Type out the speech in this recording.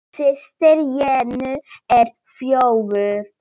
Systir Jennu er þjófur.